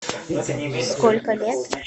сколько лет